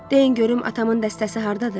Deyin görüm atamın dəstəsi hardadır?